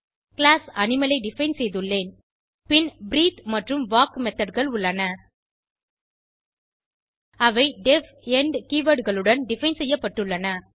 class animal ஐ define செய்துள்ளேன் பின் பிரீத்தே மற்றும் வால்க் methodகள் உள்ளன அவை டெஃப் எண்ட் keywordகளுடன் டிஃபைன் செய்யப்பட்டுள்ளன